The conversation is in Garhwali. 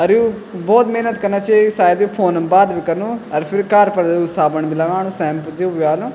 अर यु बहौत मेहनत कना छी सायद फ़ोन म बात भी कनु अर फिर कार पर साबुन भी लगाणु शैम्पू च वा नु।